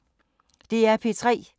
DR P3